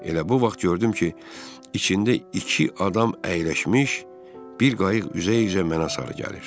Elə bu vaxt gördüm ki, içində iki adam əyləşmiş bir qayıq üzə-üzə mənə sarı gəlir.